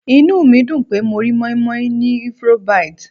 Inú mi dùn pé mo rí moin-moin ní Ivory -bite.